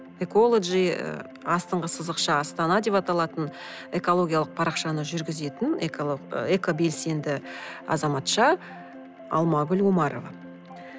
эколоджи ы астыңғы сызықша астана деп аталатын экологиялық парақшаны жүргізетін экобелсенді азаматша алмагүл омарова